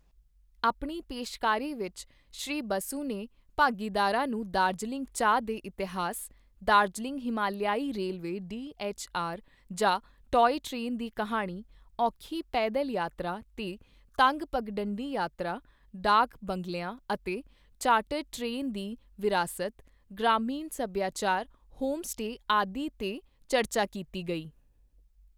ਆਪਣੀ ਪੇਸ਼ਕਾਰੀ ਵਿੱਚ ਸ਼੍ਰੀ ਬਸੂ ਨੇ ਭਾਗੀਦਾਰਾਂ ਨੂੰ ਦਾਰਜਲਿੰਗ ਚਾਹ ਦੇ ਇਤਿਹਾਸ, ਦਾਰਜਲਿੰਗ ਹਿਮਾਲਿਆਈ ਰੇਲਵੇ ਡੀਐੱਚਆਰ ਜਾਂ ਟੌਇ ਟ੍ਰੇਨ ਦੀ ਕਿਹਾਣੀ, ਔਖੀ ਪੈਦਲ ਯਾਤਰਾ ਤੇ ਤੰਗ ਪਗਡੰਡੀ ਯਾਤਰਾ, ਡਾਕ ਬੰਗਲਿਆਂ ਅਤੇ ਚਾਰਟਰ ਟ੍ਰੇਨ ਦੀ ਵਿਰਾਸਤ, ਗ੍ਰਾਮੀਣ ਸਭਿਆਚਾਰ, ਹੋਮ ਸਟੇ ਆਦਿ ਤੇ ਚਰਚਾ ਕੀਤੀ ਗਈ।